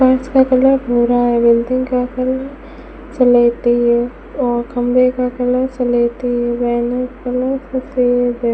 फर्स का कलर भूरा है बिल्डिंग का कलर सलेटी है और खंभे का कलर सलेटी है वेन का कलर सफेद है।